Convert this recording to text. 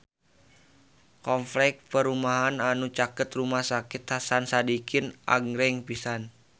Kompleks perumahan anu caket Rumah Sakit Hasan Sadikin agreng pisan